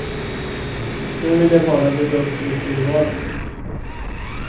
Nu vill jag bara bygga upp min tillvaro.